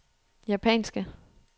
japanske